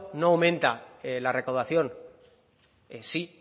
no aumenta la recaudación sí